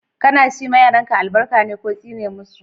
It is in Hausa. Kana shi ma yaranka albarka ne ko tsine masu?